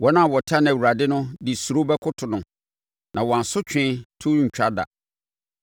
Wɔn a wɔtane Awurade no de suro bɛkoto no, na wɔn asotwe to rentwa da.